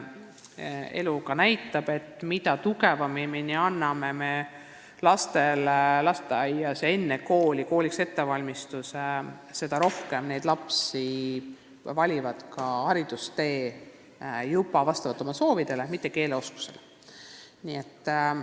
Elu näitab, et mida tugevama kooliks ettevalmistuse me anname lastele lasteaias, seda rohkem lapsi valib ka edasise haridustee vastavalt oma soovidele, mitte keeleoskuse järgi.